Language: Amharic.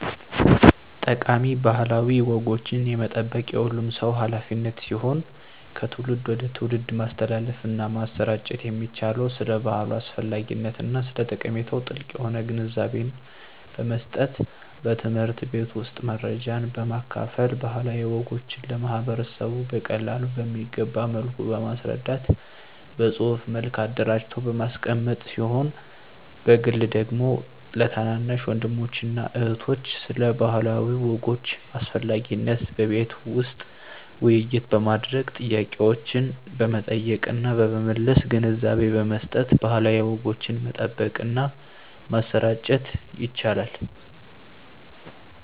ጠቃሚ ባህላዊ ወጎችን የመጠበቅ የሁሉም ሰው ሀላፊነት ሲሆን ከትውልድ ወደ ትውልድ ማስተላለፍና ማሰራጨት የሚቻለው ስለ ባህሉ አስፈላጊነትና ስለ ጠቀሜታው ጥልቅ የሆነ ግንዛቤን በመስጠት በትምህርት ቤት ውስጥ መረጃን በማካፈል ባህላዊ ወጎችን ለማህበረሰቡ በቀላሉ በሚገባ መልኩ በማስረዳት በፅሁፍ መልክ አደራጅቶ በማስቀመጥ ሲሆን በግል ደግሞ ለታናናሽ ወንድሞችና እህቶች ስለ ባህላዊ ወጎች አስፈላጊነት በቤት ውስጥ ውይይት በማድረግ ጥያቄዎችን በመጠየቅና በመመለስ ግንዛቤ በመስጠት ባህላዊ ወጎችን መጠበቅና ማሰራጨት ይቻላል።